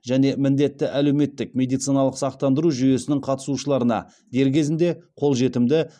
және міндетті әлеуметтік медициналық сақтандыру жүйесінің қатысушыларына дер кезінде қолжетімді